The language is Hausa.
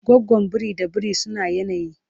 gwagwan biri da biri suna yanayi